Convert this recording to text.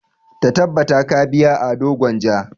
Ta tabbata ka biya ado gwanja!